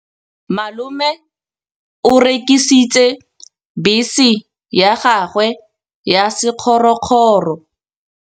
Malome o rekisitse bese ya gagwe ya sekgorokgoro.